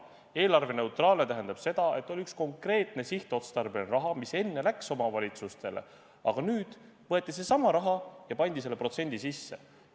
Eelarveneutraalne tähendab seda, et on üks konkreetne sihtotstarbeline raha, mis enne läks omavalitsustele, aga nüüd võeti seesama raha ja pandi selle protsendi sisse.